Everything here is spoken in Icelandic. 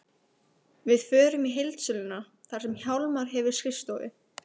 Við förum í heildsöluna þar sem Hjálmar hefur skrifstofu.